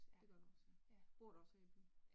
Det gør du også. Bor du også her i byen?